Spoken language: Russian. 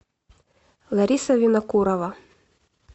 лариса винокурова